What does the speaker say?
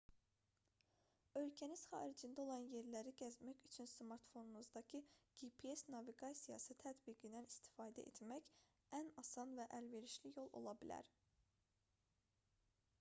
ölkəniz xaricində olan yerləri gəzmək üçün smartfonunuzdakı gps naviqasiyası tətbiqindən istifadə etmək ən asan və əlverişli yol ola bilər